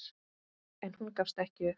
En hún gafst ekki upp.